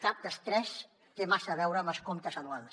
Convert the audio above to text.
cap dels tres té massa a veure amb els comptes anuals